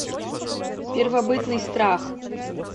первобытный страх